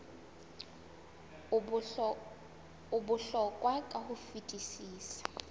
o bohlokwa ka ho fetisisa